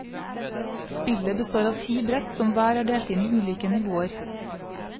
Spillet består av ti brett som hver er delt inn i ulike nivåer.